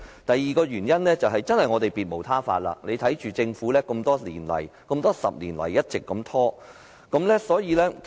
第二個原因，是我們別無他法，只能眼睜睜看着政府在過去多年來一直拖延。